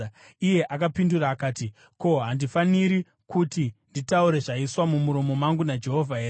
Iye akapindura akati, “Ko, handifaniri kuti nditaure zvaiswa mumuromo mangu naJehovha here?”